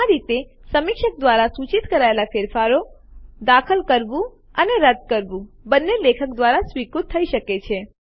આ રીતે સમીક્ષક દ્વારા સૂચિત કરાયેલ ફેરફારો દાખલ કરવું અને રદ્દ કરવું બંને લેખક દ્વારા સ્વીકૃત થઇ શકે છે